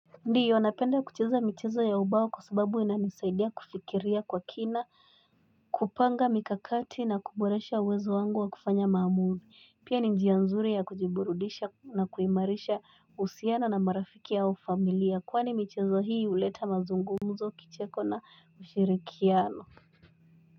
Ndio napenda kucheza michezo ya ubao kwa sababu inanisaidia kufikiria kwa kina kupanga mikakati na kuboresha uwezo wangu wa kufanya maamuzi pia njia nzuri ya kujiburudisha na kuimarisha uhusiano na marafiki au familia kwani michezo hii uleta mazungumzo kicheko na ushirikiano.